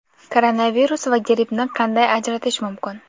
Koronavirus va grippni qanday ajratish mumkin?